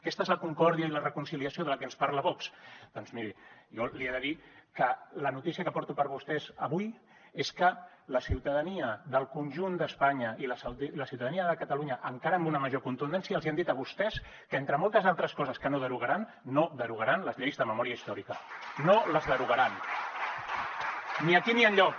aquesta és la concòrdia i la reconciliació de la que ens parla vox doncs miri jo li he de dir que la notícia que porto per a vostès avui és que la ciutadania del conjunt d’espanya i la ciutadania de catalunya encara amb una major contundència els hi han dit a vostès que entre moltes altres coses que no derogaran no derogaran les lleis de memòria històrica no les derogaran ni aquí ni enlloc